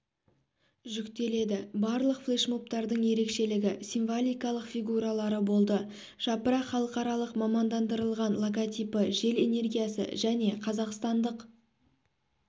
жүктеледі барлық флешмобтардың ерекшелігі символикалық фигуралары болды жапырақ халықаралық мамандандырылған логотипі жел энергиясы және қазақстандық